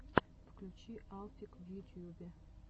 включи алфик в ютьюбе